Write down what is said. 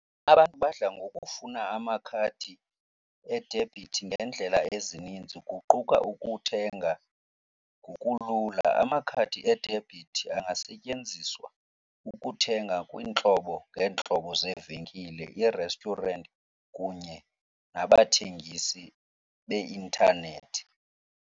Abantu badla ngokufuna amakhadi edebhithi ngeendlela ezininzi kuquka ukuthenga ngokulula. Amakhadi edebhithi angasetyenziswa ukuthenga kwiintlobo ngeentlobo zeevenkile, ii-restaurant kunye nabathengisi beintanethi.